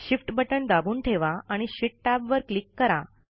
shift button दाबून ठेवा आणि शीट टॅबवर क्लिक करा